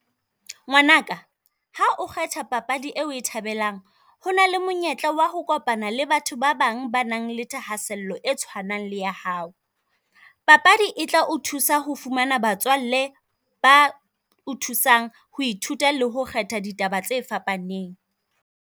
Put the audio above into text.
Ngwanaka ha o kgetha papadi e o e thabelang, ho na le monyetla wa ho kopana le batho ba bang ba nang le thahasello e tshwanang le ya hao. Papadi e tla o thusa ho fumana batswalle ba o thusang ho ithuta le ho kgetha ditaba tse fapaneng.